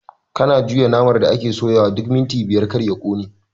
Kana juya naman da ake soyawa duk minti biyar kar ya ƙone